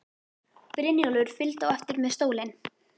Brynjólfur fylgdi á eftir með stólinn.